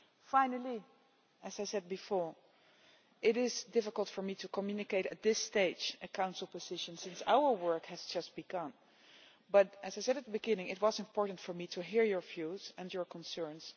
Finally, as I said before, it is difficult for me to communicate at this stage a Council position, since our work has just begun but, as I said at the beginning, it was important for me to hear your views and your concerns.